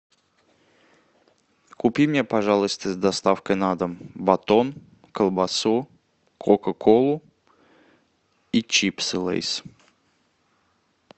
купи мне пожалуйста с доставкой на дом батон колбасу кока колу и чипсы лейс